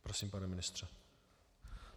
Prosím, pane ministře.